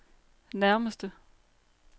nærmeste